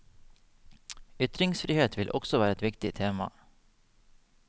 Ytringsfrihet vil også være et viktig tema.